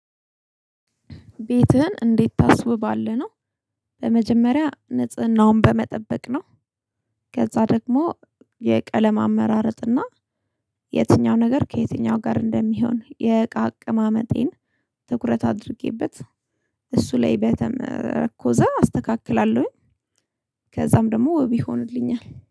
ቤትህን እንዴት ታስውባለህ ነው? በመጀመሪያ ንጽህናውን በመጠበቅ ነው። ከዛ ደግሞ የቀለም አመራረጥና የትኛው ነገር ከየትኛው ጋር እንደሚሆን የእቃ አቀማመጤን ትኩረት አድርጌበት እሱ ላይ በተመረኮዘ አስተካክላለሁኝ። ከዛም ደግሞ ወብ ይሆንልኛል